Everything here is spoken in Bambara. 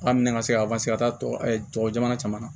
An minɛ ka se ka se ka taaban caman na